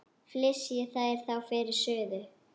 Flysjið þær þá fyrir suðu.